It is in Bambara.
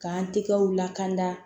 K'an tɛgɛw lakanda